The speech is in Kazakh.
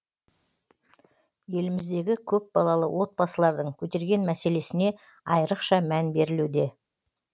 еліміздегі көпбалалы отбасылардың көтерген мәселесіне айрықша мән берілуде